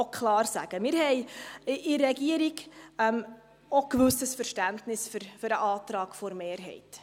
Wir haben in der Regierung auch ein gewisses Verständnis für den Antrag der Mehrheit.